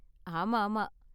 ஆமா, ஆமா.